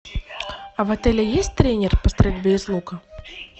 а в отеле есть тренер по стрельбе из лука